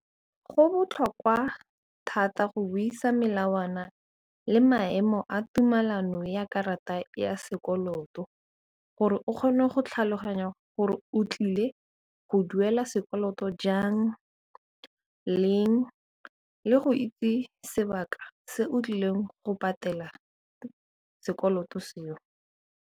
Go botlhokwa thata go buisa melawana le maemo a tumelano ya karata ya sekoloto gore o kgone go tlhaloganya gore o tlile go duela sekoloto jang, leng le go itse sebaka se o tlileng go patela sekoloto seo.